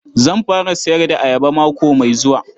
Zan fara sayar da ayaba mako mai zuwa.